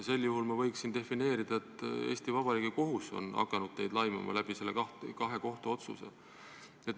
Sel juhul ma võiksin defineerida, et Eesti Vabariigi kohus on hakanud teid laimama nende kahe kohtuotsusega.